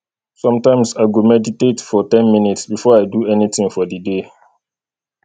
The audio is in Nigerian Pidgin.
sometimes i go meditate for ten minutes before i do anything for the day